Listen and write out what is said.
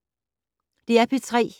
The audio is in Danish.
DR P3